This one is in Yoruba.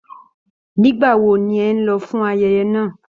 Nígbà wo ní ẹ n lọ fún ayẹyẹ náà?